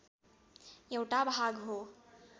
एउटा भाग हो